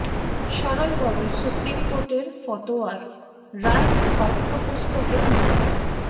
সরল গরল সুপ্রিম কোর্টের ফতোয়ার রায় পাঠ্যপুস্তকে নিতে হবে